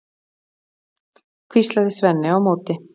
hvíslaði Svenni á móti.